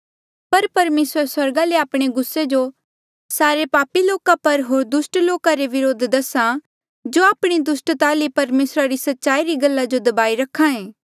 पर परमेसर स्वर्गा ले आपणे गुस्से जो सारे पापी लोका पर होर दुस्ट लोका रे विरुद्ध दसा जो आपणी दुस्ट ता ले परमेसरा री सच्चाई री गल्ला जो दबाई रखायें